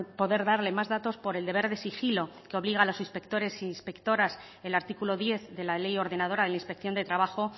poder darle más datos por el deber de sigilo que obliga a los inspectores e inspectoras el artículo diez de la ley ordenadora de la inspección de trabajo